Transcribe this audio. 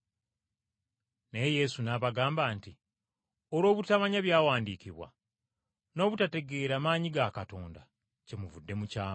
Naye Yesu n’abagamba nti, “Olw’obutamanya byawandiikibwa n’obutategeera maanyi ga Katonda kyemuvudde mukyama.